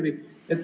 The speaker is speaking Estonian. Küsimus palun!